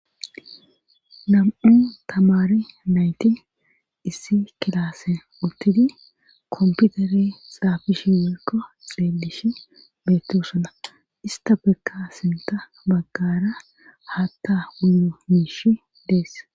nam'u tamare nayti issi kilasen uttidi komputere xaafishe woykko xeelishe beetosona istapekka sinta baggara haatta wuyo miish dees